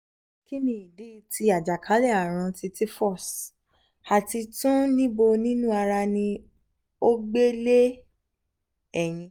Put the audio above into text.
kini idi ti ajakale-arun ti typhus? ati tun nibo ninu ara ni o gbe le eyin